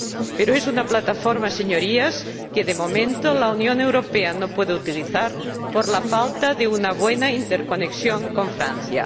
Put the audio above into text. Pero es una plataforma, Señorías que, de momento, la Unión Europea no puede utilizar por la falta de una buena interconexión con Francia.